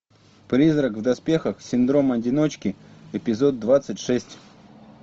призрак в доспехах синдром одиночки эпизод двадцать шесть